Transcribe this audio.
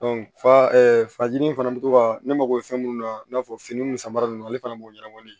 fa fajiri fana bɛ to ka ne mago bɛ fɛn mun na i n'a fɔ fini nun sanbara ninnu ale fana b'o ɲɛnabɔli